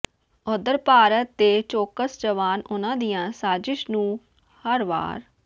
ਉਧਰ ਭਾਰਤ ਦੇ ਚੌਕਸ ਜਵਾਨ ਉਨ੍ਹਾਂ ਦੀਆਂ ਸਾਜ਼ਿਸ਼ ਨੂੰ ਹਰ ਵਾਰ